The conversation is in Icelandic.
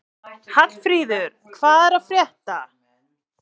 Hallfríður, hvað er að frétta?